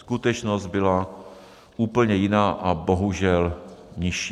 Skutečnost byla úplně jiná a bohužel nižší.